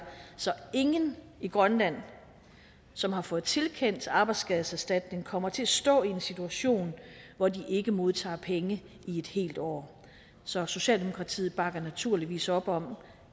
så ingen i grønland som har fået tilkendt arbejdsskadeserstatning kommer til at stå i en situation hvor de ikke modtager penge i et helt år så socialdemokratiet bakker naturligvis op om